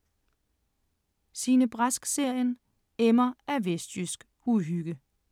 Signe Brask-serien emmer af vestjysk uhygge